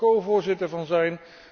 Ik mag daar covoorzitter van zijn.